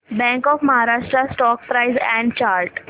bank of Maharashtra stock price and chart